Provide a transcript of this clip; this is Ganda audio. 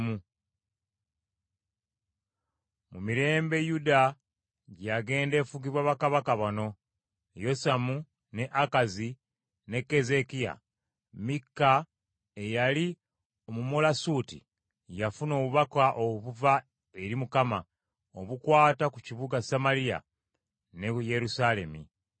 Mu mirembe Yuda gye yagenda efugibwa bakabaka bano: Yosamu, ne Akazi, ne Keezeekiya, Mikka eyali Omumolasuuti, yafuna obubaka obuva eri Mukama , obukwata ku kibuga Samaliya ne Yerusaalemi.